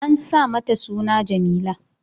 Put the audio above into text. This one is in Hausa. An sa mata suna Jameela